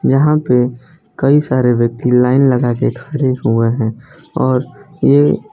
यहां पे कई सारे व्यक्ति लाइन लगा के खड़े हुए हैं और ये--